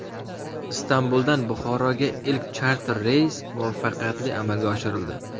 Istanbuldan Buxoroga ilk charter reys muvaffaqiyatli amalga oshirildi .